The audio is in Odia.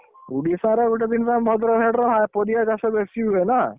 ଓଡ଼ିଶାର ଗୋଟେ କଣ ଭଦ୍ରକ side ରେ ପରିବା ଚାଷ ବେଶୀ ହୁଏନା।